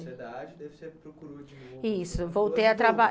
daí você procurou de novo. Isso, voltei a traba